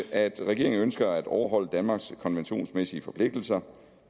er at regeringen ønsker at overholde danmarks konventionsmæssige forpligtelser